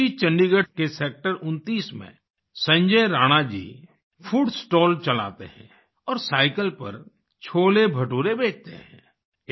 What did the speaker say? इसी चंडीगढ़ के सेक्टर 29 में संजय राणा जी फूड स्टॉल चलाते हैं और साईकिल पर छोलेभटूरे बेचते हैं